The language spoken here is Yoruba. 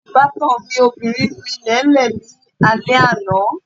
Ìbátan mi obìnrin nu ilẹ̀lẹ́ẹ̀ lálẹ́ àná